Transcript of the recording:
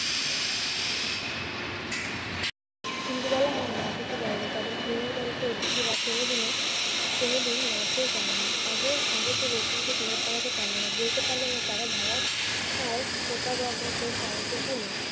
ইন্দুবালা হ্যাঁ, না কিছু বলেনি। তাদের খুলনার বাড়িতে অতিথিরা কোনোদিনও~ কোনোদিন না খেয়ে যায়নি। আজও~ আজও সে লোকজনদের provoc করাতে পারল না। বলতে পারলো না তারা ঘরের আর ফোটাবার মতো চালটুকু নেই।